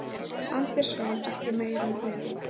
Andersson ekki meira með